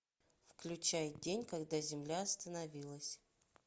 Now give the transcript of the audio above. включай день когда земля остановилась